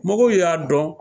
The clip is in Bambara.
Mɔgɔw y'a dɔn